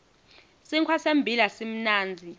sinkhwa sembila simnandzi